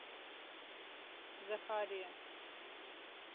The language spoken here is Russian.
захария